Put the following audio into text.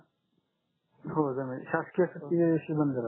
हो जमेल शासकीय सुट्टी च्या दिवशी बंद राहते